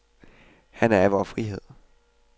Han er personificeringen af vor frihed.